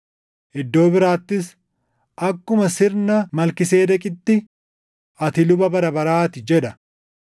Iddoo biraattis, “Akkuma sirna Malkiiseedeqitti, ati luba bara baraa ti” + 5:6 \+xt Far 110:4\+xt* jedha.